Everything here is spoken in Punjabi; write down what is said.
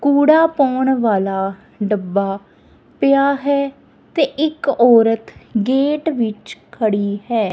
ਕੂੜਾ ਪਾਉਣ ਵਾਲਾ ਡੱਬਾ ਪਿਆ ਹੈ ਤੇ ਇੱਕ ਔਰਤ ਗੇਟ ਵਿੱਚ ਖੜੀ ਹੈ।